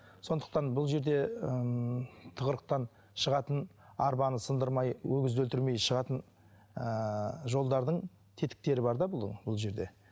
сондықтан бұл жерде ммм тығырықтан шығатын арбаны сындырмай өгізді өлтірмей шығатын ііі жолдардың тетіктері бар да бұның бұл жерде